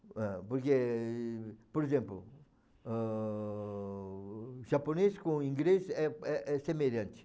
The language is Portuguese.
ah. Porque, por exemplo, ãh, japonês com inglês é é é semelhante.